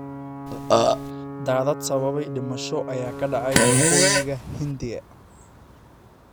Daadad sababay dhimasho ayaa ka dhacay waqooyiga Hindiya